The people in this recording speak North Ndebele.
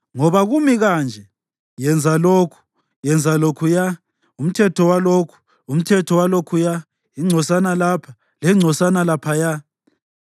Ngoba kumi kanje: Yenza lokhu, yenza lokhuya, umthetho walokhu, umthetho walokhuya; ingcosana lapha, lengconsana laphayana.”